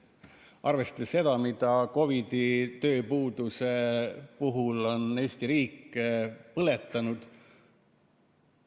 Arvestame seda raha, mida COVID‑i tööpuuduse puhul on Eesti riik põletanud.